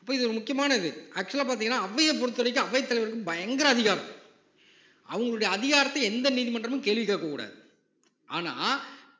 இப்ப இது ஒரு முக்கியமான இது actual ஆ பார்த்தீங்கன்னா அவையைப் பொறுத்தவரைக்கும் அவைத் தலைவருக்கு பயங்கர அதிகாரம் அவங்களுடைய அதிகாரத்தை எந்த நீதிமன்றமும் கேள்வி கேட்கக் கூடாது ஆனா